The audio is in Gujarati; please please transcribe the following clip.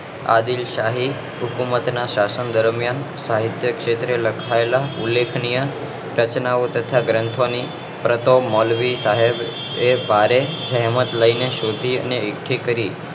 આદીલ્સાહી હુકુમત ના શાસન દરમિયાન સાહિત્ય ક્ષેત્રે સ્થપાયેલા ઉલેખનીય રચના ઓ તથા ગ્રંથો ની પ્રસો મૌલ્વી સાહેબે એ ભારે હેમત લઇ ને શોધી અને એકઠી કરી